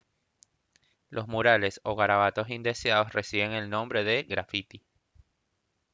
los murales o garabatos indeseados reciben el nombre de grafiti